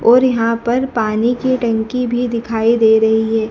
और यहां पर पानी की टंकी भी दिखाई दे रही है।